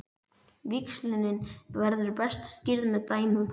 Víxlunin verður best skýrð með dæmum.